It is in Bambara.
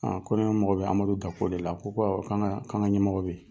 ko ne mago bɛ Amadu Dako de la a ko ko awɔ k'an ka ɲɛmɔgɔ bɛ ye.